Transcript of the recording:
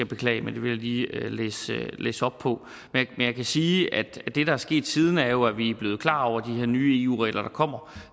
beklage men det vil jeg lige læse op på men jeg kan sige at det der er sket siden er jo at vi er blevet klar over de her nye eu regler der kommer